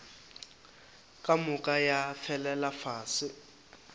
ka moka ya felela fase